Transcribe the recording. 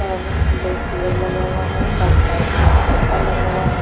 और दो चेयर लगा हुआ है और साइड में एक सोफा लगा हुआ है।